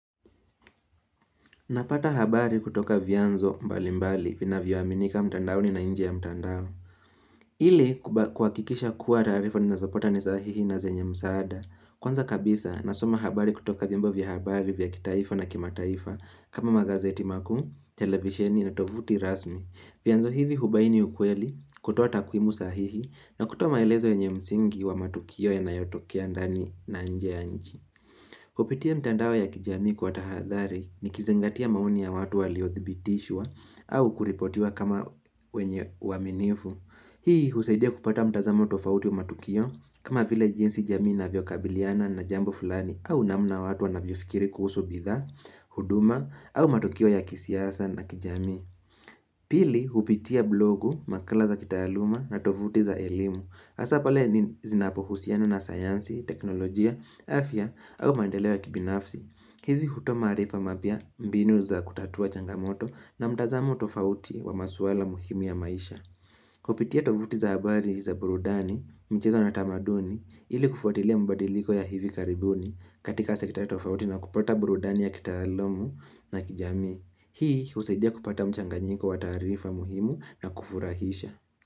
Napata habari kutoka vianzo mbali mbali vinavyo aminika mtandaoni na nje ya mtandao. Ili kuhakikisha kuwa taarifa ninazapota ni sahihi na zenye msaada. Kwanza kabisa, nasoma habari kutoka vyombo vya habari vya kitaifa na kimataifa kama magazeti makuu, televisheni na tovuti rasmi. Vyanzo hivi hubaini ukweli, kutoa takuimu sahihi na kutoa maelezo yenye msingi wa matukio yanayotokea ndani na nje ya nchi. Kupitia mtandao ya kijamii kwa tahadhari ni nikizingatia maoni ya watu waliothibitishwa au kuripotiwa kama wenye uaminifu. Hii husaidia kupata mtazamo tofauti wa matukio kama vile jinsi jamii inavyokabiliana na jambo fulani au namna watu wanavyofikiri kuhusu bidhaa, huduma au matokeo ya kisiasa na kijamii. Pili hupitia blogu makala za kitaaluma na tovuti za elimu. Hasa pale zinapohusiana na sayansi, teknolojia, afya au maendeleo ya kibinafsi. Hizi kutoa maarifa mapya mbinu za kutatua changamoto na mtazamo tofauti wa maswala muhimi ya maisha. Kupitia tovuti za habari za burudani mchezo na tamaduni ili kufuatilia mabadiliko ya hivi karibuni katika sekta tofauti na kupata burudani ya kitaalumu na kijami. Hii husaidia kupata mchanganyiko wa taarifa muhimu na kufurahisha.